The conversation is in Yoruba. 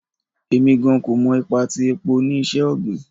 Emi gan ko mọ ipa ti epo ni iṣẹ-ogbin